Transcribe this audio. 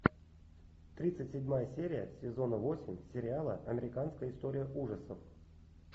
тридцать седьмая серия сезона восемь сериала американская история ужасов